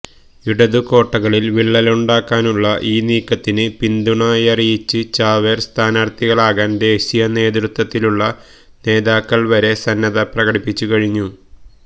ഇടതു കോട്ടകളിൽ വിള്ളലുണ്ടാക്കാനുള്ള ഈ നീക്കത്തിന് പിന്തുണയറിയിച്ച് ചാവേർ സ്ഥാനാർഥികളാകാൻ ദേശീയ നേതൃത്വത്തിലുള്ള നേതാക്കൾ വരെ സന്നദ്ധത പ്രകടിപ്പിച്ചു കഴിഞ്ഞു